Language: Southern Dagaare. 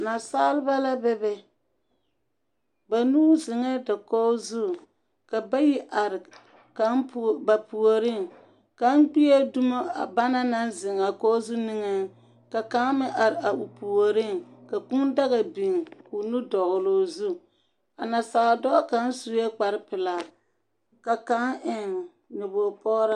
Nasaaba la be be. Banuu zeŋɛɛ dakog zu, ka bayi are kaŋ pu…, ba puoriŋ. Kaŋ gbie dumo a bana naŋ zeŋ a dakogo zu niŋe soga, ka kaŋ meŋ are a o puoriŋ, ka kūū daga biŋ koo nu dɔgle o zu. A nasaadɔɔ kaŋa sue kparre pelaa, ka kaŋ meŋ eŋ nyɔbog pɔgraa.